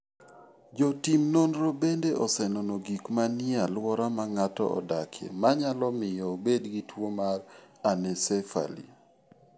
Jotim nonro bende osenono gik manie alwora ma ng'ato odakie manyalo miyo obed gi tuwo mar anencephaly.